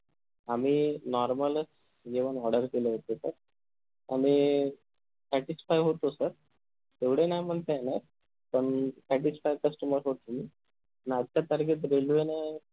आम्ही normal च जेवण order केलं होत sir आम्ही satisfy होतो sir एवढं नाही म्हणता येणार पण satisfycustomer होतो मी अन आता target railway न